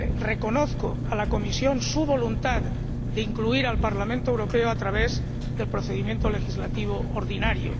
Reconozco a la Comisión su voluntad de incluir al Parlamento Europeo a través del procedimiento legislativo ordinario.